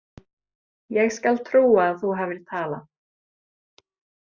Ég skal trúa að þú hafir talað.